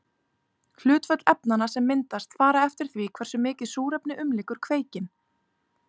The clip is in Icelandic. Hlutföll efnanna sem myndast fara eftir því hversu mikið súrefni umlykur kveikinn.